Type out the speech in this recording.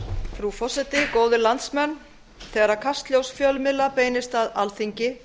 frú forseti góðir landsmenn þegar kastljós fjölmiðla beinist að alþingi